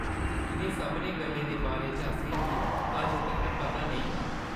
इʼनें सभनें गल्लें दे बारे च असेंगी अजें तक्कर पता नेईं हा।